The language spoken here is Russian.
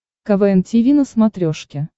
квн тиви на смотрешке